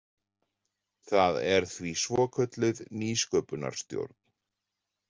Það er því svokölluð Nýsköpunarstjórn.